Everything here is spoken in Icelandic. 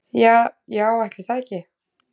Ja já ætli það ekki.